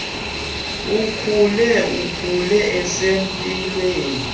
akhule akhule esempilweni